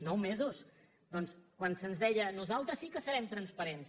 nou mesos doncs quan se’ns deia nosaltres sí que serem transparents